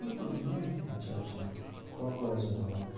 করে নে আচ্ছা আচ্ছা কোন college এ নেবো?